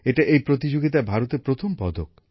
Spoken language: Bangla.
এটা এই প্রতিযোগিতায় ভারতের প্রথম পদক